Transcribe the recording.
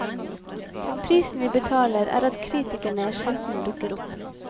Prisen vi betaler er at kritikerne sjelden dukker opp.